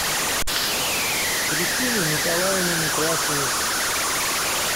кристины николаевны некрасовой